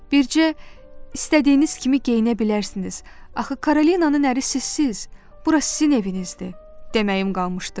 Bircə istədiyiniz kimi geyinə bilərsiniz, axı Karolinanın ərisisiz, bura sizin evinizdir deməyim qalmışdı.